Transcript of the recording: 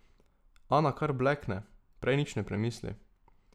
Ana kar blekne, prej nič ne premisli.